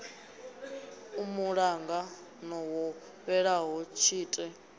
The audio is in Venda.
a muṱangano wo fhelaho tshite